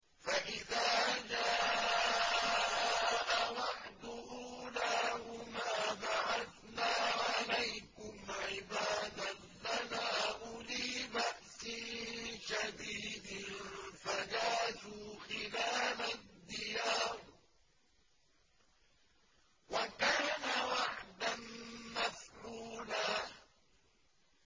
فَإِذَا جَاءَ وَعْدُ أُولَاهُمَا بَعَثْنَا عَلَيْكُمْ عِبَادًا لَّنَا أُولِي بَأْسٍ شَدِيدٍ فَجَاسُوا خِلَالَ الدِّيَارِ ۚ وَكَانَ وَعْدًا مَّفْعُولًا